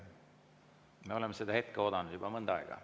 Me oleme seda hetke oodanud juba mõnda aega.